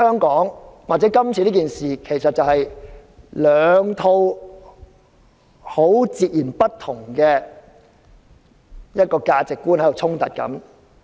今次事件涉及兩套截然不同的價值觀的衝突。